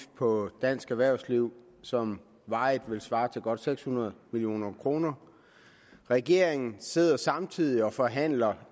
på dansk erhvervsliv som varigt vil svare til godt seks hundrede million kroner regeringen sidder samtidig og forhandler